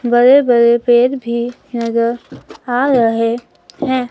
बड़े बड़े पेड़ भी नजर आ रहे हैं।